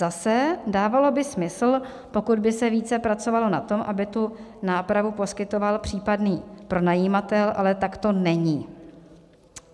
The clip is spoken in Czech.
Zase, dávalo by smysl, pokud by se více pracovalo na tom, aby tu nápravu poskytoval případný pronajímatel, ale tak to není.